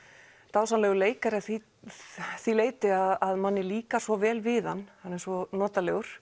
dásamlegur leikari að því því leyti að manni líkar svo vel við hann hann er svo notalegur